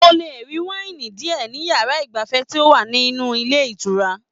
O le rí waini diẹ ní yàrá igbafẹ̀ ti o wa nínú ilé ìtura